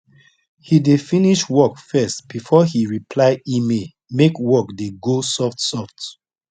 he dey finish report first before he reply email make work dey go soft soft